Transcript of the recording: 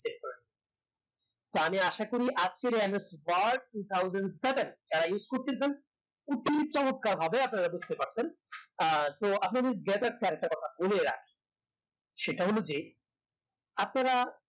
তা নিয়ে আসা করি আজকের ns word two thousand seven যারা উসে করতে ছেন কিচিৎ চমৎকার ভাবে আপনারা বুজতে পারছেন আহ তো আপনাদের get up নিয়ে আর একটা কথা বলে রাখি সেটা হলো যে আপনারা